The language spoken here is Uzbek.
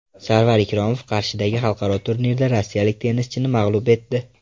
Sarvar Ikromov Qarshidagi xalqaro turnirda rossiyalik tennischini mag‘lub etdi.